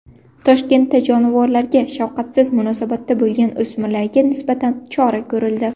Toshkentda jonivorlarga shafqatsiz munosabatda bo‘lgan o‘smirlarga nisbatan chora ko‘rildi.